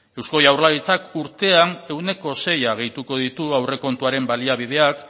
eusko jaurlaritzak urtean ehuneko sei gehituko ditu aurrekontuaren baliabideak